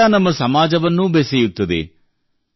ಸಂಗೀತ ನಮ್ಮ ಸಮಾಜವನ್ನೂ ಬೆಸೆಯುತ್ತದೆ